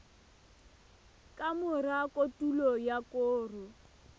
ka mora kotulo ya koro